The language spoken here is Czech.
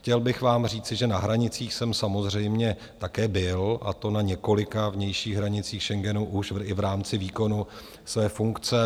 Chtěl bych vám říci, že na hranicích jsem samozřejmě také byl, a to na několika vnějších hranicích Schengenu už i v rámci výkonu své funkce.